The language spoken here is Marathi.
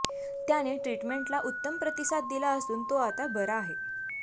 त्याने ट्रीटमेंटला उत्तम प्रतिसाद दिला असून तो आता बरा आहे